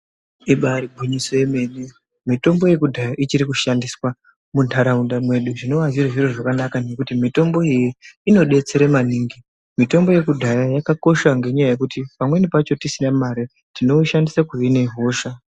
Ibariwinyiso yemene mitombo yekudhaya ichirikushandiswa muntaraunta medu zvinova zviri zviri zvakanaka nekuti mitombo iyi inobetsera maningi mitombo yekudhaya yakakosha nenyaya yekuti pamwemini pacho tisina mare tinoushandise kuhina hosha .